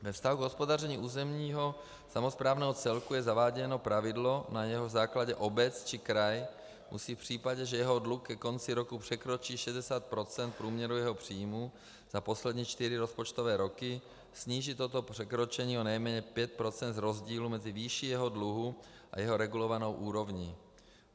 Ve vztahu k hospodaření územního samosprávného celku je zaváděno pravidlo, na jehož základě obec či kraj musí v případě, že jeho dluh ke konci roku překročí 60 % průměru jeho příjmů za poslední čtyři rozpočtové roky, snížit toto překročení o nejméně 5 % z rozdílu mezi výší jeho dluhu a jeho regulovanou úrovní.